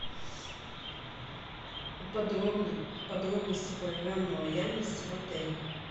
подробности программы лояльности в отеле